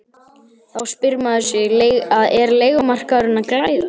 Þá spyr maður sig er leigumarkaðurinn að glæðast?